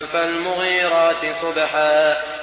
فَالْمُغِيرَاتِ صُبْحًا